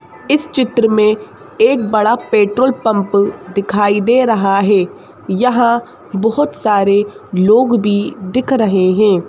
इस चित्र में एक बड़ा पेट्रोल पंप दिखाई दे रहा है यहां बहुत सारे लोग भी दिख रहे हैं।